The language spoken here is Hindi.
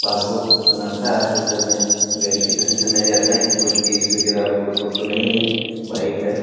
पासपोर्ट बनाता है। आपके घर में वेरिफिकेशन करने जाता कि कोई केस वगैरा आपके ऊपर तो नहीं है। बाइक है।